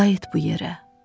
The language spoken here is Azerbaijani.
Qayıt bu yerə.